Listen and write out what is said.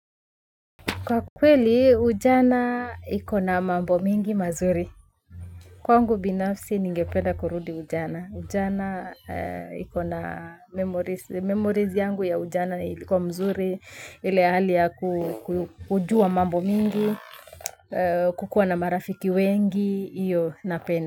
Kwa kweli, ujana ikona mambo mingi mazuri. Kwangu binafsi, ningependa kurudi ujana. Ujana ikona memories yangu ya ujana ilikuwa mzuri, ile hali ya kujua mambo mingi, kukuwa na marafiki wengi, iyo napenda.